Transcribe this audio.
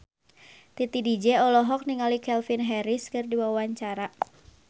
Titi DJ olohok ningali Calvin Harris keur diwawancara